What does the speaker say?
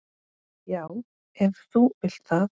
Já, ef þú vilt það.